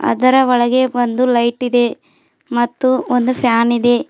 ಅದರ ಒಳಗೆ ಬಂದು ಲೈಟ್ ಇದೆ ಮತ್ತು ಒಂದು ಫ್ಯಾನ್ ಇದೆ.